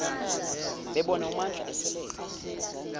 bebona umandla eselele